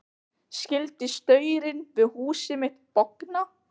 Skyldi staurinn við húsið mitt bogna?